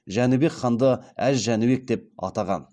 жәнібек ханды әз жәнібек деп атаған